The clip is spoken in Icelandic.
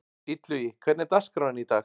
Illugi, hvernig er dagskráin í dag?